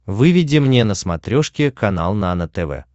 выведи мне на смотрешке канал нано тв